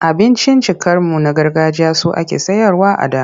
Abinciccikanmu na gargajiya su ake sayarwa a da.